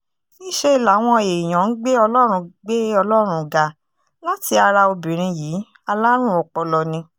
níṣẹ́ làwọn èèyàn ń gbé ọlọ́run gbé ọlọ́run ga láti ara obìnrin yìí alárùn ọpọlọ ni